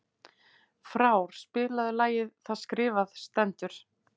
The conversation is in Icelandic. Frár, spilaðu lagið „Það skrifað stendur“.